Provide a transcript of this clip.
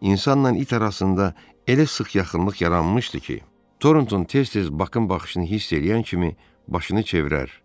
İnsanla it arasında elə sıx yaxınlıq yaranmışdı ki, Toronton tez-tez Bakın baxışını hiss eləyən kimi başını çevirər